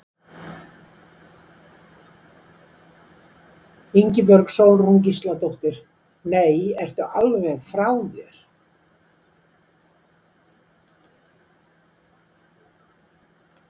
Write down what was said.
Ingibjörg Sólrún Gísladóttir: Nei, ertu alveg frá þér?